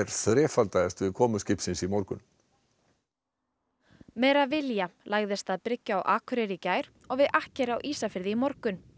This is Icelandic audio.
þrefaldaðist við komu skipsins í morgun meravíja lagðist að bryggju á Akureyri í gær og við akkeri á Ísafirði í morgun